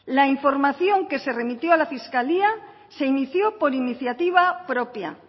la información que se remitió a la fiscalía se inició por iniciativa propia